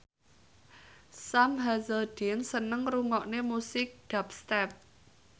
Sam Hazeldine seneng ngrungokne musik dubstep